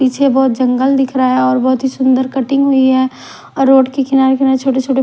पीछे बहुत जंगल दिख रहा है और बहुत ही सुंदर कटिंग हुई है और रोड के किनारे छोटे-छोटे--